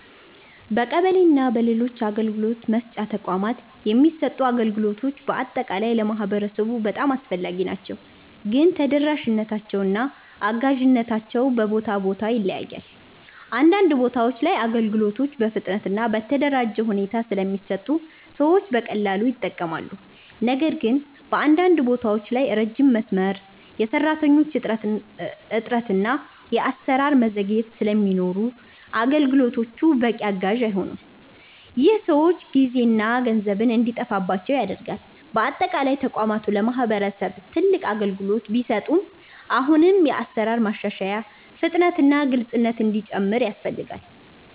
በቀበሌ እና በሌሎች የአገልግሎት መስጫ ተቋማት የሚሰጡ አገልግሎቶች በአጠቃላይ ለማህበረሰቡ በጣም አስፈላጊ ናቸው፣ ግን ተደራሽነታቸው እና አጋዥነታቸው በቦታ ቦታ ይለያያል። አንዳንድ ቦታዎች ላይ አገልግሎቶች በፍጥነት እና በተደራጀ ሁኔታ ስለሚሰጡ ሰዎች በቀላሉ ይጠቀማሉ። ነገር ግን በአንዳንድ ቦታዎች ላይ ረጅም መስመር፣ የሰራተኞች እጥረት እና የአሰራር ዘግይቶች ስለሚኖሩ አገልግሎቶቹ በቂ አጋዥ አይሆኑም። ይህ ሰዎች ጊዜና ገንዘብ እንዲጠፋባቸው ያደርጋል። በአጠቃላይ ተቋማቱ ለማህበረሰብ ትልቅ አገልግሎት ቢሰጡም አሁንም የአሰራር ማሻሻያ፣ ፍጥነት እና ግልፅነት እንዲጨምር ያስፈልጋል።